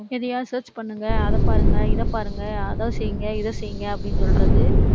எதையாவது search பண்ணுங்க. அதைப்பாருங்க, இதைப்பாருங்க, அதை செய்யுங்க, இதை செய்யுங்க, அப்படின்னு சொல்றது